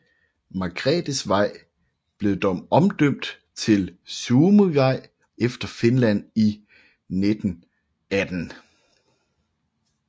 Margrethevej blev dog omdøbt til Suomivej efter Finland i 1918